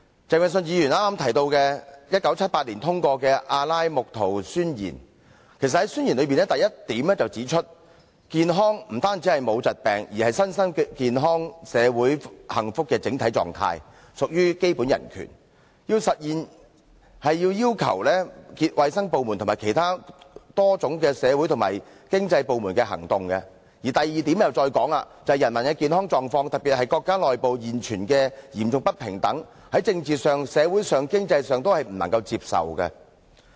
鄭泳舜議員剛才提到1978年通過的《阿拉木圖宣言》，其實宣言中的第一點便指出，健康不單是沒有疾病，而是身心健康社會幸福的整體狀態，屬基本人權，其實現是要求衞生部門及其他多種社會和經濟部門的行動；而第二點指出，人民的健康狀況，特別是國家內部現存的嚴重不平等，在政治上、社會上及經濟上均不能接受。